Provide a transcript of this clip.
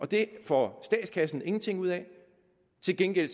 det får statskassen ingenting ud af til gengæld